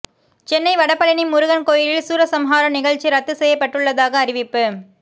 சென்னை வடபழனி முருகன் கோயிலில் சூரசம்ஹாரம் நிகழ்ச்சி ரத்து செய்யப்பட்டுள்ளதாக அறிவிப்பு